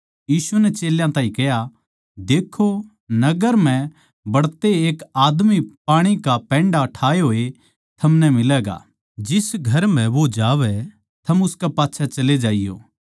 यीशु नै चेल्यां ताहीं कह्या देक्खो नगर म्ह बड्तेए एक आदमी थमनै पाणी का पैण्डा ठाए होए थमनै मिलैगा जिस घर म्ह वो जावै थम उसके पाच्छै चले जाइयो